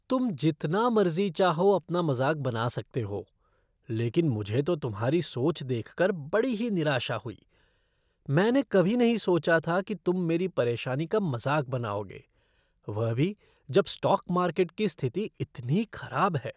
तुम जितना मर्ज़ी चाहो अपना मज़ाक बना सकते हो, लेकिन मुझे तो तुम्हारी सोच देखकर बड़ी ही निराशा हुई, मैंने कभी नहीं सोचा था कि तुम मेरी परेशानी का मज़ाक बनाओगे, वह भी जब स्टॉक मार्केट की स्थिति इतनी खराब है।